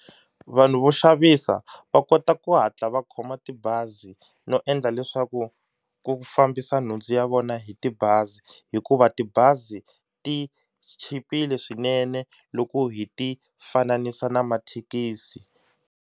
Vanhu vo xavisa va kota ku hatla va khoma tibazi no endla leswaku ku fambisa nhundzu ya vona hi tibazi hikuva tibazi ti chipile swinene loko hi ti fananisa na mathekisi.